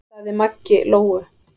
sagði Maggi Lóu.